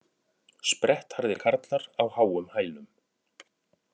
Sprettharðir karlar á háum hælum